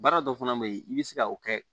Baara dɔ fana be yen i bi se ka o kɛ